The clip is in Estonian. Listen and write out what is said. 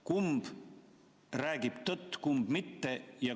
Kumb räägib tõtt, kumb mitte?